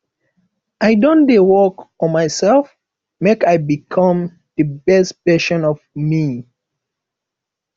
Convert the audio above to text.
i don dey work on myself make i become di best version of me